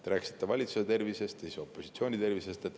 Te rääkisite valitsuse tervisest ja siis opositsiooni tervisest.